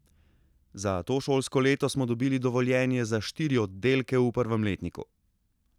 Za to šolsko leto smo dobili dovoljenje za štiri oddelke v prvem letniku.